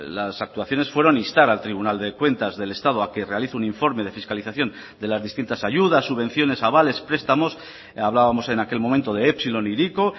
las actuaciones fueron instar al tribunal de cuentas del estado a que realice un informe de fiscalización de las distintas ayudas subvenciones avales prestamos hablábamos en aquel momento de epsilon e hiriko